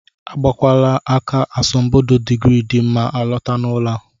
Agbakwala aka asambodo digrii dị mma alọta n'ụlọ a!